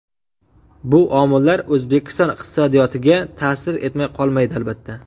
Bu omillar O‘zbekiston iqtisodiyotiga ta’sir etmay qolmaydi, albatta.